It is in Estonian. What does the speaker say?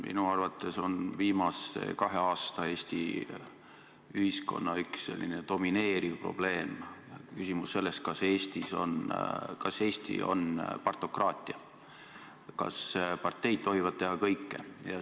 Minu arvates on viimase kahe aasta Eesti ühiskonna üks domineerivaid probleeme või küsimusi selles, kas Eestis on partokraatia, kas parteid tohivad teha kõike.